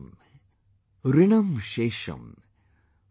Shesham Rina Shesham,